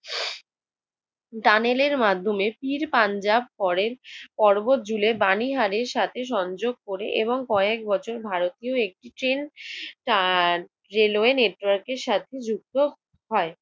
দানেলের মাধ্যমে পীর পাঞ্জাব পরের পর্বত জুলের বাণীহারের সাথে সংযোগ করে এবং কয়েক বছর ভারতীয় এক তার রেলওয়ে নেটয়ার্কের সাথে যুক্ত হয়।